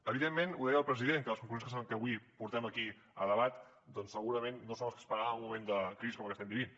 evidentment ho deia el president que les conclusions que avui portem aquí a debat doncs segurament no són les que esperàvem en un moment de crisi com la que estem vivint